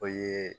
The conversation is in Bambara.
O ye